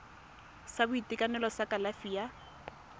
sa boitekanelo sa kalafi ya